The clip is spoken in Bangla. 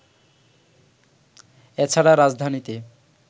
এ ছাড়া রাজধানীতে